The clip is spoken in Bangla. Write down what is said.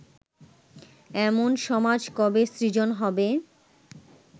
এমন সমাজ কবে সৃজন হবে